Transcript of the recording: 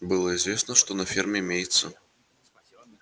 было известно что на ферме имеется